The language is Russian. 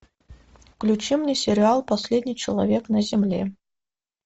включи мне сериал последний человек на земле